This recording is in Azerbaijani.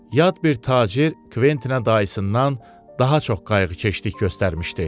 Yad bir tacir Kventinə dayısından daha çox qayğıkeşlik göstərmişdi.